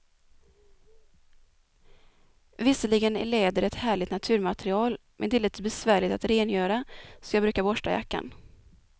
Visserligen är läder ett härligt naturmaterial, men det är lite besvärligt att rengöra, så jag brukar borsta jackan.